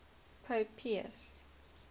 pope pius